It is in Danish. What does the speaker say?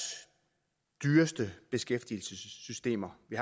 dyreste beskæftigelsessystemer vi